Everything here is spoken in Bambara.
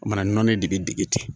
Mana nɔnɔnin de bi dege ten